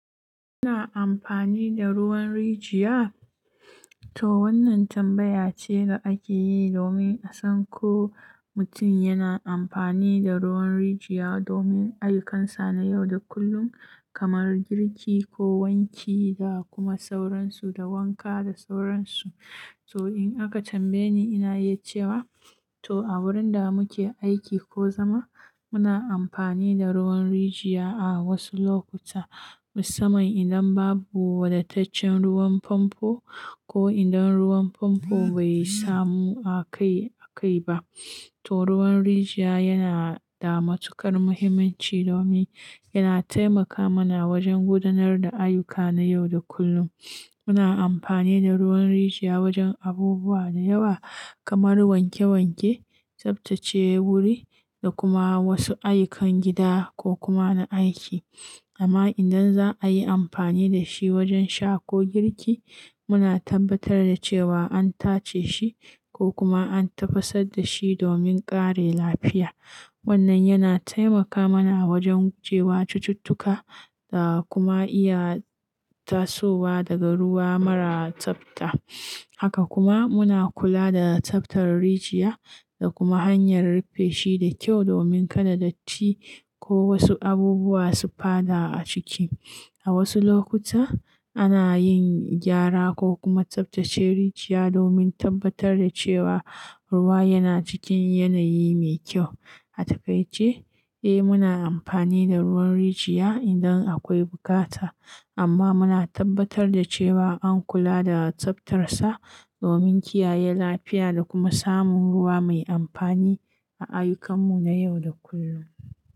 Kuna amfani da ruwan rijiya? To wannan tambaya ce da ake yi domin a san ko mutum yana amfani da ruwan rijiya domin ayyukansa na yau da kullum kamar girki ko wanki da kuma sauransu da wanka da sauransu. To in aka tambaye ni, ina iya cewa to a wurin da muke aiki ko zama muna amfani da ruwan rijiya a wasu lokuta. Musamman idan babu wadataccen ruwan famfo ko idan ruwan famfo bai samu a kai a kai ba. To ruwan rijiya yana da matuƙar muhimmanci domin yana taimaka mana wajen gudanar da ayyuka na yau da kullum. Muna amfani da ruwan rijiya wajen abubuwa da yawa kamar wanke wanke, tsaftace wuri da kuma wasu ayyukan gida ko kuma na aiki. Amma idan za a yi amfani da shi wajen sha ko girki, muna tabbatar da cewa an tace shi ko kuma an tafasar da shi domin ƙare lafiya. Wannan yana taimaka mana wajen gujewa cututtuka da kuma iya tasowa daga ruwa mara tsafta. Haka kuma muna kula da tsaftar rijiya da kuma hanyar rufe shi da kyau domin kada datti ko wasu abubuwa su fada a ciki. A wasu lokuta ana yin gyara ko kuma tsaftace rijiya domin tabbatar da cewa ruwa yana cikin yanayi mai kyau. A takaice, eh muna amfani da ruwan rijiya idan akwai bukata, amma muna tabbatar da cewa an kula da tsaftarsa domin kiyaye lafiya da kuma samun ruwa mai amfani a ayyukanmu na yau da kullum.